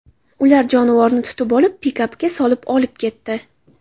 Ular jonivorni tutib olib, pikapga solib olib ketdi.